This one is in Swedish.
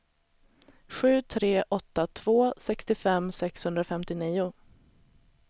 sju tre åtta två sextiofem sexhundrafemtionio